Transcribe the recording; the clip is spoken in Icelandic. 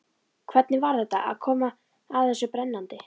Hvernig var þetta, að koma að þessu brennandi?